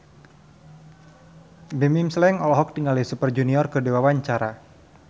Bimbim Slank olohok ningali Super Junior keur diwawancara